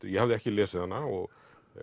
ég hafði ekki lesið hana og